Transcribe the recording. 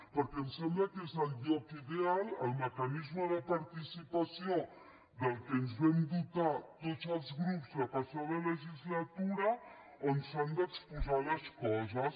perquè em sembla que és lloc ideal el mecanisme de participació de què ens vam dotar tots els grups la passada legislatura on s’han d’exposar les coses